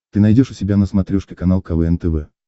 ты найдешь у себя на смотрешке канал квн тв